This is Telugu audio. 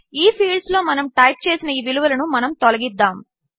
ఈఫీల్డ్స్లోమనముటైప్చేసినఈవిలువలనుమనముతొలగిద్దాము